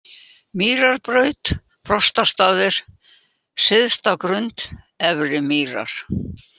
Mýrarbraut, Frostastaðir, Syðsta Grund, Efri-Mýrar